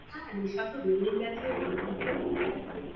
হ্যাঁ নেশা তো বেড়েই গেছে বেড়ে গেছে